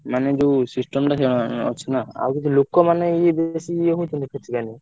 ମାନେ ଯୋଉ system ଟା ଉଁ ଅଛି ନା ଆଉ କିଛି ଲୋକ ମାନେ ଇଏ ବେଶୀ ହେଇଥିଲେ କିଛି ମାନେ?